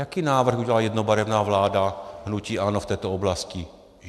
Jaký návrh udělala jednobarevná vláda hnutí ANO v této oblasti?